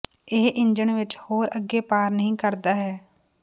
ਇਹ ਇੰਜਣ ਵਿੱਚ ਹੋਰ ਅੱਗੇ ਪਾਰ ਨਹੀ ਕਰਦਾ ਹੈ